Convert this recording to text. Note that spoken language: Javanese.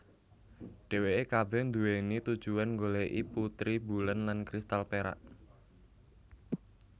Dheweke kabeh duwéni tujuan nggoleki putri bulan lan kristal perak